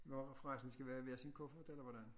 Nå forresten skal vi have hver sin kuffert eller hvordan